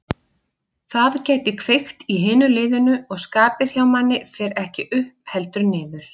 Það gæti kveikt í hinu liðinu og skapið hjá manni fer ekki upp heldur niður.